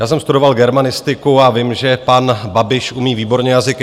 Já jsem studoval germanistiku a vím, že pan Babiš umí výborně jazyky.